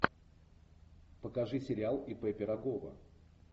покажи сериал ип пирогова